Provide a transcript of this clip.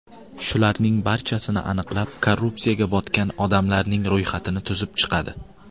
Shularning barchasini aniqlab, korrupsiyaga botgan odamlarning ro‘yxatini tuzib chiqadi.